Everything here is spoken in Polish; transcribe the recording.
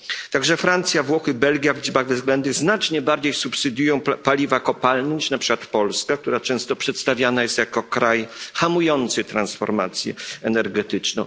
Także Francja, Włochy, Belgia w liczbach bezwzględnych znacznie bardziej subsydiują paliwa kopalne niż na przykład Polska, która często przedstawiana jest jako kraj hamujący transformację energetyczną.